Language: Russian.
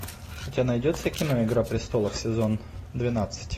у тебя найдется кино игра престолов сезон двенадцать